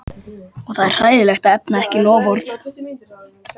Og það er hræðilegt að efna ekki loforð.